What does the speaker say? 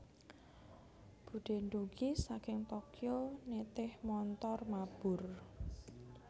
Budhe ndugi saking Tokyo nitih montor mabur